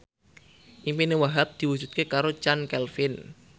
impine Wahhab diwujudke karo Chand Kelvin